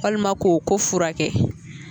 Walima ko ko furakɛ